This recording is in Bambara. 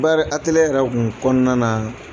Baari ateliye yɛrɛ tun kɔnɔna na